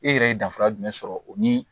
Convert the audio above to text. E yɛrɛ ye danfara jumɛn sɔrɔ o ni